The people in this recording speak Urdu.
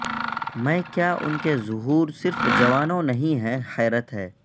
میں کیا ان کے ظہور صرف جوانوں نہیں ہیں حیرت ہے